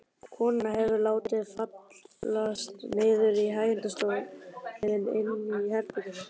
Konan hefur látið fallast niður í hægindastól inni í herberginu.